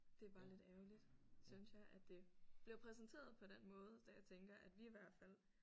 Det er bare lidt ærgerligt synes jeg at det bliver præsenteret på den måde da jeg tænker at vi i hvert fald